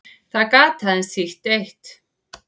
Það gat aðeins þýtt eitt.